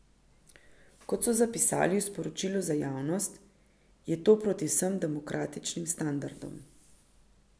Kot so zapisali v sporočilu za javnost, je to proti vsem demokratičnim standardom.